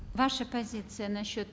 ваша позиция насчет